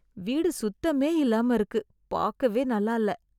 வீடு சுத்தமே இல்லாம இருக்கு பாக்கவே நல்ல இல்ல